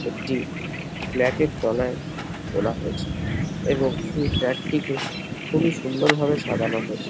একটি ফ্ল্যাট এর তলায় তোলা হয়েছে এবং সেই ফ্ল্যাট টিকে খুবই সুন্দর ভাবে সাজানো হয়েছে।